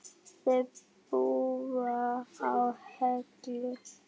Þau búa á Hellu.